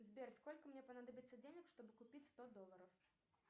сбер сколько мне понадобится денег чтобы купить сто долларов